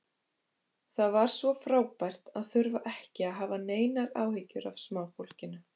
Það var svo frábært að þurfa ekki að hafa neinar áhyggjur af smáfólkinu.